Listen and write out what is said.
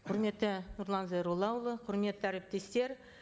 құрметті нұрлан зайроллаұлы құрметті әріптестер